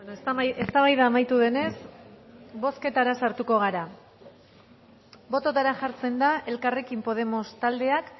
ez eztabaida amaitu denez bozketara sartuko gara bototara jartzen da elkarrekin podemos taldeak